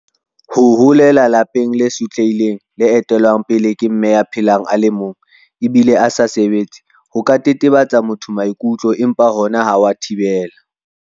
ho holela lelapeng le sotlehileng le etellwang pele ke Mme ya phelang a le mong ebile a sa sebetse ho ka tetebetsa motho maikutlo empa hona ha wa thibela